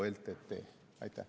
Ltd.